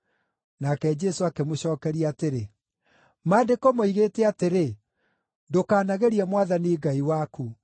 Nake Jesũ akĩmũcookeria atĩrĩ, “Maandĩko moigĩte atĩrĩ: ‘Ndũkanagerie Mwathani Ngai waku.’ ”